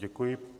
Děkuji.